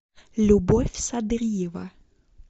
любовь садриева